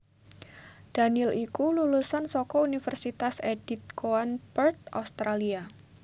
Daniel iku lulusan saka Univèrsitas Edith Cowan Perth Australia